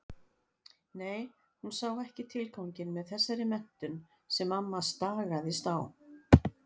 Nei, hún sá ekki tilganginn með þessari menntun sem mamma stagaðist á.